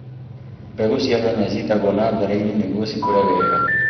Mbegu cia nyanya citagwo natharĩ-inĩ nĩgwo cikure wega.